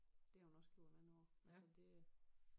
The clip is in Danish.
Det har hun også gjort mange år så det